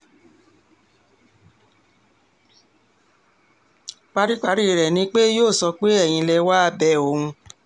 paríparí rẹ̀ ni pé yóò sọ pé ẹ̀yin lẹ wàá bẹ òun